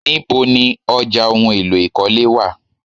Níbo ni ọjà ohùn èlò ikọle wá?